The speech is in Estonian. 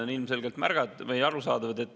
Ja ilmselgelt on see arusaadav.